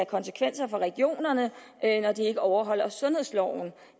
konsekvenser for regionerne når de ikke overholder sundhedsloven